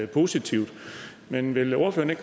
positivt men vil ordføreren